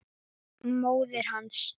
Móðir hans